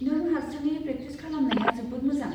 नों हारसिङै प्रेकटिस खालामनाया जोबोद मोजां।